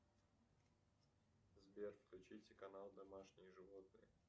сбер включите канал домашние животные